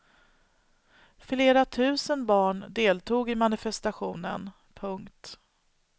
Flera tusen barn deltog i manifestationen. punkt